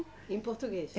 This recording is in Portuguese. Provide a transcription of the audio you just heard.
Em português.